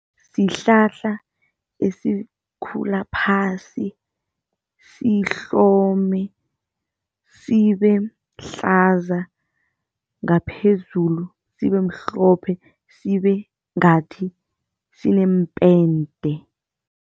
Sihlahla esikhula phasi, sihlome sibehlaza ngaphezulu sibemhlophe, sibe ngathi sineempente.